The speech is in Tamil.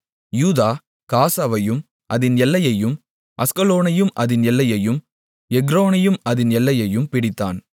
யூதா காசாவையும் அதின் எல்லையையும் அஸ்கலோனையும் அதின் எல்லையையும் எக்ரோனையும் அதின் எல்லையையும் பிடித்தான்